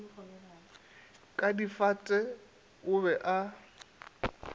ka difata o be a